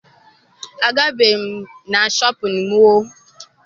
Agabeghị m na shọpịn mọọ